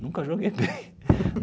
Nunca joguei bem.